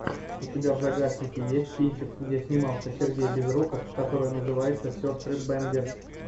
у тебя в загашнике есть кинчик где снимался сергей безруков который называется сестры бэнгер